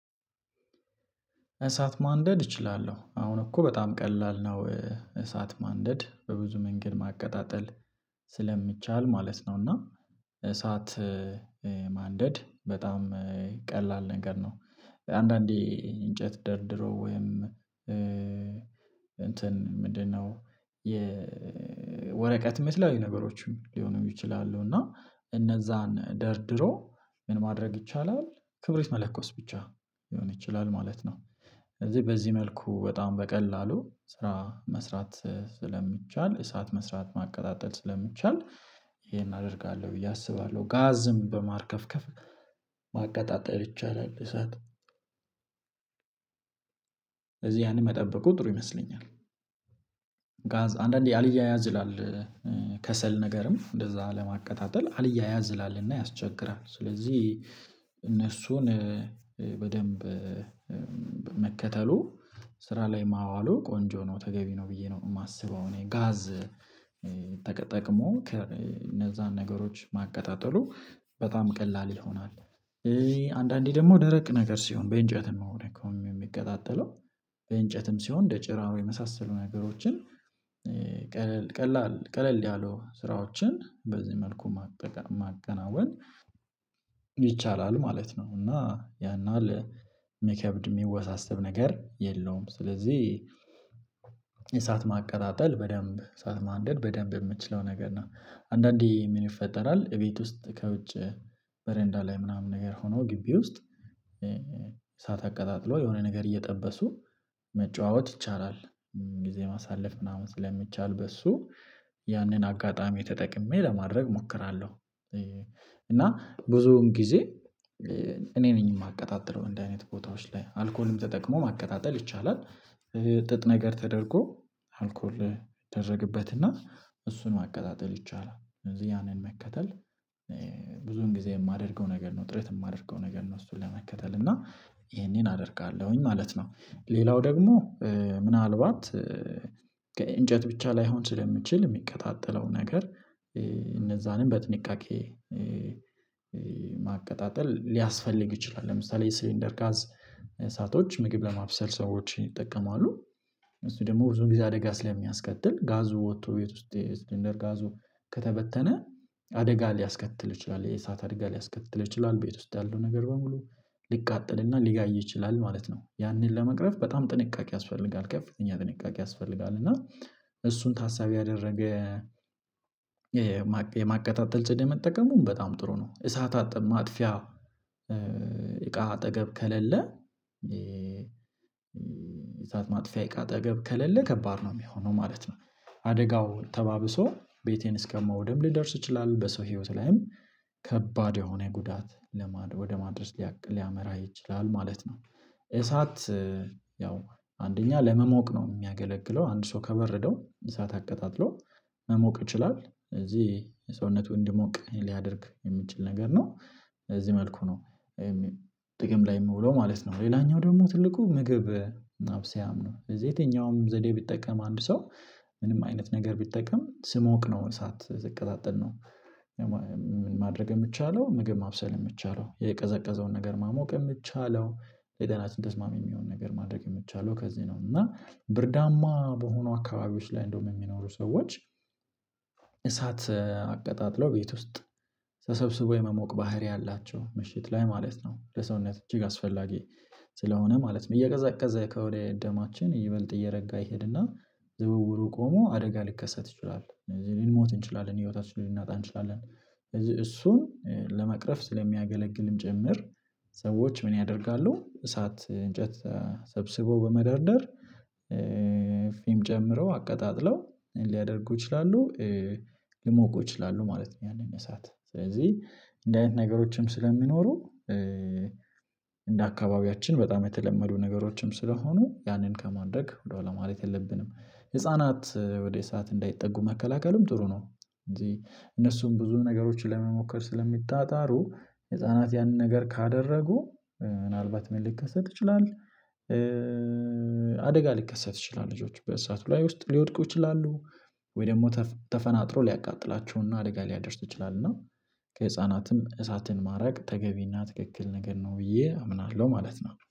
እሳት ማንደድ እችላለሁ። አሁን እኮ በጣም ቀላል ነው። እሳት ማንደድ በብዙ መንገድ ማቀጣጠል ስለሚቻል ማለት ነው እና እሳት ማንደድ በጣም ቀላል ነገር ነው። አንዳንዴ እንጨት ደርድሮ ወይም እንትን ምንድነው የወረቀትም የተለያዩ ነገሮችም ሊሆኑ ይችላሉ እና እነዛን ደርድሮ ምን ማድረግ ይቻላል ክብሪት መለኮስ ብቻ ሊሆን ይችላል ማለት ነው ስለዚህ በዚህ መልኩ በጣም በቀላሉ ስራ መስራት ስለሚቻል እሳት መስራት ማቀጣጠል ስለሚቻል ይሄን አደርጋለሁ ብዬ አስባለሁ። ጋዝም በማርከፍከፍ ይቻላል እሳት እዚህ ያንን መጠበቁ ጥሩ ይመስለኛል። አንዳንዴ አልያያዝ ይላል ከሰል ነገርም እንደዛ ለማቀጣጠል አልያያዝ ይላልና ያስቸግራል ስለዚህ እነሱን በደንብ መከተሉ ስራ ላይ ማዋሉ ቆንጆ ነው ተገቢ ነው ብዬ ነው የማስበው እኔ ጋዝ ተጠቅሞ እነዛን ነገሮች ማቀጣጠሉ በጣም ቀላል ይሆናል ስለዚህ አንዳንዴ ደግሞ ደረቅ ነገር ሲሆን በእንጨትም ነው ደግሞም የሚቀጣጠለው በእንጨትም ሲሆን እንደ ጭራሮ የመሳሰሉ ነገሮችን ቀለል ቀላል ቀለል ያለው ስራዎችን በዚህ መልኩ ማቀጠ ማከናወን ይቻላል ማለት ነው፣ እና ያን ያህል ሚከብድ የሚወሳሰብ ነገር የለውም ስለዚህ እሳት ማቀጣጠል በደንብ እሳት ማንደድ በደንብ የምትችለው ነገር ነው። አንዳንዴ ምን ይፈጠራል እቤት ውስጥ ከውጭ በረንዳ ላይ ምናምን ነገር ሆኖ ግቢ ውስጥ እዓት አቀጣጥሎ የሆነ ነገር እየጠበሱ መጫወት ይቻላል ጊዜ ማሳለፍ ምናምን ስለሚቻል በሱ ያንን አጋጣሚ ተጠቅሜ ለማድረግ እሞክራለሁ። እና ብዙውን ጊዜ እኔ ነኝ የማቀጣጥለው እንደዚህ አይነት ቦታዎች ላይ አልኮልም ተጠቅሞ ማቀጣጠል ይቻላል ጥጥ ነገር ተደርጎ አልኮል ይደረግበትና እሱን ማቀጣጠል ይቻላል ያንን መከተል ብዙን ጊዜ የማደርገው ነገር ነው ጥረት የማደርገው ነገር ነው እሱን ለመከተል እና ይሄንን አደርጋለሁኝ ማለት ነው። ሌላው ደግሞ ምናልባት ከእንጨት ብቻ ላይሆን ስለምችል የሚቀጣጠለው ነገር እነዛንም በጥንቃቄ ማቀጣጠል ሊያስፈልግ ይችላል። ለምሳሌ የሲሊንደር ጋዝ እሳቶች ምግብ ለማብሰል ሰዎች ይጠቀማሉ። እሱ ደግሞ ብዙ ጊዜ አደጋ ስለሚያስከትል ጋዙ ወጥቶ ቤት ውስጥ የሲልንደር ጋዞ ከተበተነ አደጋ ሊያስከትል ይችላል። የእሳት አደጋ ሊያስከትል ይችላል ቤት ውስጥ ያለው ነገር በሙሉ ሊቃጠልና ሊጋይ ይችላል ማለት ነው ያንን ለመቅረፍ በጣም ጥንቃቄ ያስፈልጋል ከፍተኛ ጥንቃቄ ያስፈልጋል እና እሱን ታሳቢ ያደረገ የማቀጣጠል ዘዴ መጠቀሙን በጣም ጥሩ ነው እሳት አጥፊ ማጥፊያ እቃ አጠገብ ከሌለ እሳት ማጥፊያ አጠገብ ከሌለ ከባድ ነው የሚሆነው ማለት ነው። አደጋው ተባብሶ ቤቴን እስከመውደም ሊደርስ ይችላል በሰው ህይወት ላይም ከባድ የሆነ ጉዳት ለማድ ወደ ማድረግ ሊያመራ ይችላል ማለት ነው። እሳት ያው አንደኛ ለመሞቅ ነው የሚያገለግለው አንድ ሰው ከበረደው እሳት አቀጣጥሎ መሞቅ ይችላል ስለዚህ ሰውነቱ እንዲሞቅ ሊያደርግ የሚችል ነገር ነው በዚህ መልኩ ነው ጥቅም ላይ የሚውለው ማለት ነው ሌላኛው ደግሞ ትልቁ ምግብ ማብሰያም ነው። ስለዚህ የትኛውንም ዘዴ ቢጠቀም አንድ ሰው ምንም አይነት ነገር ቢጠቀም ሲሞቅ ነው ሰዓት ሲቀጣጠል ነው ማድረግ የሚቻለው ምግብ ማብሰል የሚቻለው የቀዘቀዘውን ነገር ማሞቅ የሚትቻለው ለጤናችን ተስማሚ የሚሆን ነገር ማድረግ የምትቻለው ከዚህ ነው እና ብርዳማ በሆኑ አካባቢዎች ላይ እንደውም የሚኖሩ ሰዎች እሳት አቀጣጥለው ቤት ውስጥ ተሰብስቦ የመሞቅ ባህሪ አላቸው ምሽት ላይ ማለት ነው ለሰውነት እጅግ አስፈላጊ ስለሆነ ማለት ነው እየቀዘቀዘ ከሆነ ደማችን ይበልጥ እየረጋ ይሄድና ዝውውሩ ቆሞ አደጋ ሊከሰት ይችላል፣ ልንሞት እንችላለን፣ ህይወታችን ልንናጣ እንችላለን፣ ስለዚህ እሱን ለመቅረፍ ስለሚያገለግልም ጭምር ሰዎች ምን ያደርጋሉ እሳት እንጨት ሰብስቦ በመደርደር ፍም ጨምረው አቀጣጥለው ሊያደርጉ ይችላሉ ሊሞቁ ይችላሉ ማለት ነው ያንን እሳት ስለዚህ እንደ አይነት ነገሮችም ስለሚኖሩ እንደ አካባቢያችን በጣም የተለመዱ ነገሮችም ስለሆኑ ያንን ከማድረግ ወደኋላ ማለት የለብንም። ህፃናት ወደ እሳት እንዳይጠጉ መከላከልም ጥሩ ነው እነሱም ብዙ ነገሮችን ለመሞከር ስለሚጣጣሩ ህፃናት ያንን ነገር ካደረጉ ምናልባት ምን ሊከሰት ይችላል አደጋ ሊከሰት ይችላል ልጆች በእሳቱ ላይ ውስጥ ሊወድቁ ይችላሉ ወይ ደግሞ ተፈናጥሮ ሊያቃጥላቸውና አደጋ ሊያደርሱ ይችላል እና ከህፃናትም እሳትን ማራቅ ተገቢና ትክክል ነገር ነው ብዬ አምናለሁ ማለት ነው።